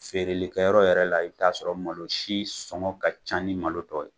Feereli kɛ yɔrɔ yɛrɛ la, i bɛ t'a sɔrɔ malo si sɔngɔ ka ca ni malo tɔ ye.